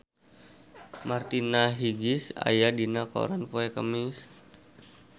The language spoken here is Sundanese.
Martina Hingis aya dina koran poe Kemis